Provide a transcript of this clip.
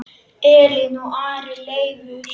Elín og Ari Leifur.